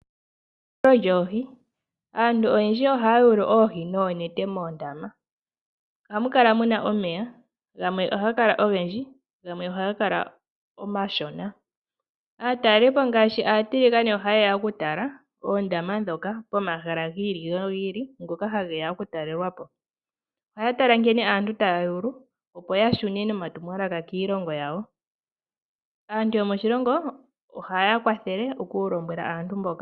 Eyulo lyoohi. Aantu oyendji ohaya yulu oohi noonete moondama .ohamukala muna omeya gamwe ohaga kala ogendji gamwe ohagakala omashona . Aatalepo ngaashi aatiligane oha yeya okutala oondama ndhoka pomahala gi ili nogi ili ngoka hageya oku talelwapo . Ohaya tala nkene aantu taya yulu opo ya shune nomatumwalaka kiilongo yawo . Aantu yomoshilongo ohayeya kwathele okulombwela aantu mboka.